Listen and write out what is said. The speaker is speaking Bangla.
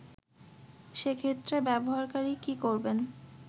সেক্ষেত্রে ব্যবহারকারী কী করবেন